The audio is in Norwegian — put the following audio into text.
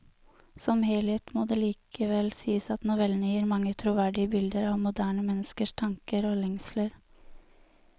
Som helhet må det likevel sies at novellene gir mange troverdige bilder av moderne menneskers tanker og lengsler.